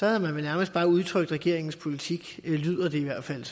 havde man vel nærmest bare udtrykt regeringens politik lyder det i hvert fald